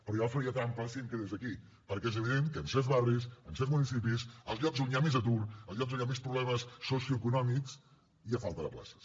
però jo faria trampes si em quedés aquí perquè és evident que ens certs barris en certs municipis als llocs on hi ha més atur als llocs on hi ha més problemes socioeconòmics hi ha falta de places